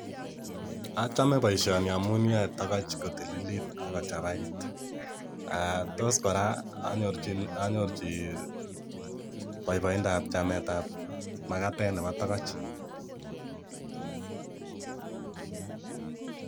Achame boisioni amun yoe tokoch kotililit ak kochabait, tos kora anyorchi boiboindab chametab makatet nebo tokoch.